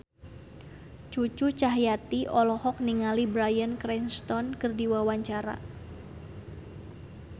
Cucu Cahyati olohok ningali Bryan Cranston keur diwawancara